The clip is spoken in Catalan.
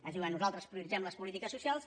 ens diuen nosaltres prioritzem les polítiques socials